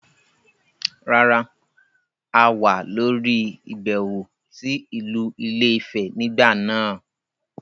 Rárá, a wà lórí ìbẹ̀wò sí ìlú ilé - ìfẹ nígbà náà.